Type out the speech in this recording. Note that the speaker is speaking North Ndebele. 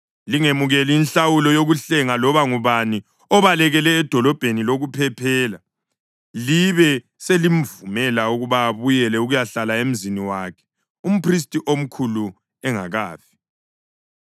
Lingemukeli inhlawulo yokuhlenga loba ngubani obalekele edolobheni lokuphephela libe selimvumela ukuba abuyele ukuyahlala emzini wakhe umphristi omkhulu engakafi.